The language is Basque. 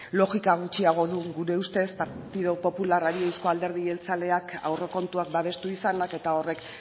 logika gutxiagoa du gure ustez partidu popularrari euzko alderdi jeltzaleak aurrekontuak babestu izanak eta horrek